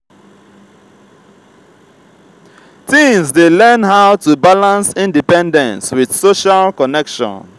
teens dey learn how to balance independence with social connection.